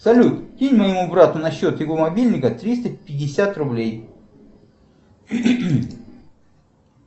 салют кинь моему брату на счет его мобильника триста пятьдесят рублей